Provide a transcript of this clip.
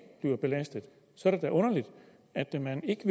bliver belastet så er det da underligt er man ikke